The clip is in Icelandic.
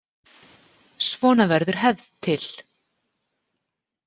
Svona verður hefð til.